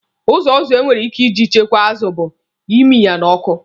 Ụzọ ọzọ enwere ike iji chekwa azụ bụ imi ya n'ọkụ.